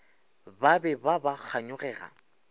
ba be ba ba kganyogela